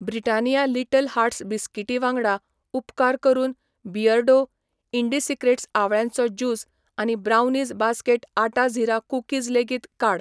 Britannia little hearts बिस्किटी वांगडा, उपकार करून बियर्डो, ईंडीसिक्रेट्स आंवळ्याचो जूस आनी ब्रावनीज बास्केट आटा झीरा कुकीज लेगीत काड.